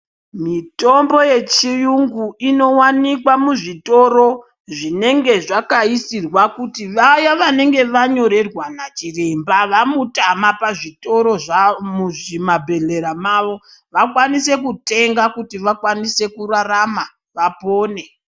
Mitombo yechirungu inowanikwa muzvitoro zvinenge zvakaisirwa kuti Vaya vanenge vanyorerwa dzimba mautama muzvitoro zvawo mumabhohlera awo vakwanise kutenga kuti vakwanise kurarama vapone.